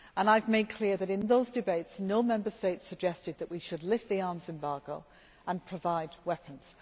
I have made clear that in those debates no Member State suggested that we should lift the arms embargo and provide weapons.